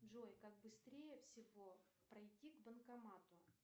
джой как быстрее всего пройти к банкомату